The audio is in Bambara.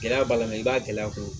Gɛlɛya b'a la mɛ i b'a gɛlɛya fɔ